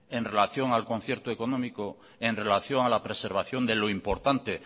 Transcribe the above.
en relación al concierto económico en relación a la preservación de lo importante